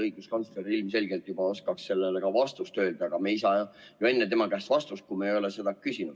Õiguskantsler ilmselgelt oskaks juba sellele ka vastata, aga me ei saa ju enne tema käest vastust, kui me ei ole seda küsinud.